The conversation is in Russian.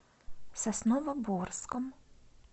сосновоборском